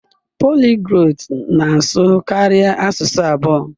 Poliglọt na-asụ karịa asụsụ abụọ.